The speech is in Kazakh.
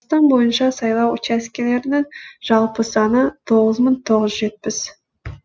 қазақстан бойынша сайлау учаскелерінің жалпы саны тоғыз мың тоғыз жүз жетпіс